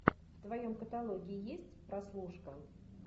в твоем каталоге есть прослушка